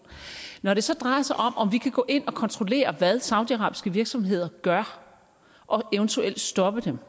når det så drejer sig om om vi kan gå ind at kontrollere hvad saudiarabiske virksomheder gør og eventuelt stoppe dem